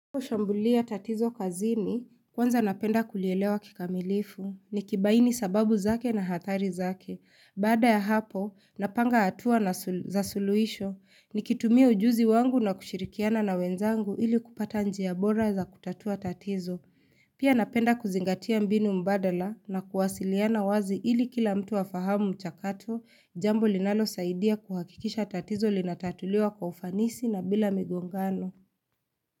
Kushambulia tatizo kazini, kwanza napenda kulielewa kikamilifu, nikibaini sababu zake na hatari zake. Baada ya hapo, napanga hatua na za suluisho, nikitumia ujuzi wangu na kushirikiana na wenzangu ili kupata njia bora za kutatua tatizo. Pia napenda kuzingatia mbinu mbadala na kuwasiliana wazi ili kila mtu wa fahamu mchakato, jambo linalosaidia kuhakikisha tatizo linatatuliwa kwa ufanisi na bila migongano.